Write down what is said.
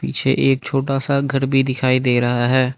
पीझे एक छोटा सा घर भी दिखाई दे रहा है।